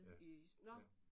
Ja ja